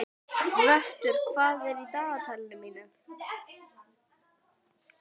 Vöttur, hvað er í dagatalinu mínu í dag?